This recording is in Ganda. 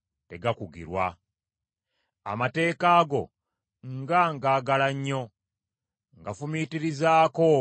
Amateeka go nga ngagala nnyo! Ngafumiitirizaako olunaku lwonna.